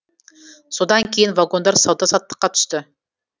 содан кейін вагондар сауда саттыққа түсті